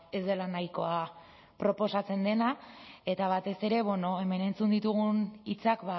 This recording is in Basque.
ez dela nahikoa proposatzen dena eta batez ere hemen entzun ditugun hitzak